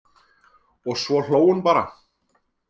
Og svo hló hún bara.